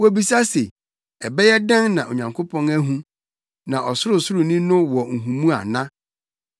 Wobisa se, “Ɛbɛyɛ dɛn na Onyankopɔn ahu? Na Ɔsorosoroni no wɔ nhumu ana?”